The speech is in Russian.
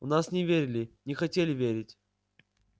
у нас не верили не хотели верить